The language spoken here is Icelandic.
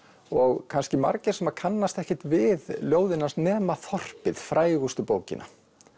og kannski margir sem kannast ekkert við ljóðin hans nema þorpið frægustu bókina